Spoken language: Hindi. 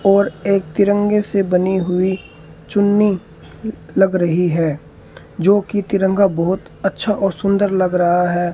और एक तिरंगे से बनी हुई चुन्नी लग रही है जो कि तिरंगा बहुत अच्छा और सुंदर लग रहा है।